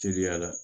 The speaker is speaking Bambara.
Teriya la